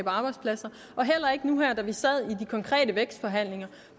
arbejdspladser og heller ikke nu her da vi sad i de konkrete vækstforhandlinger